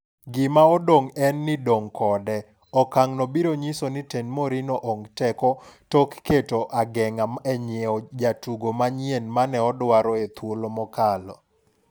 Gima odong' en ni dong' kode, okang' no biro nyiso ni tend Mourinho ong teko kendo tok keto ageng'a e nyiew jotugo manyien mane odwaro e thuolo mokalo.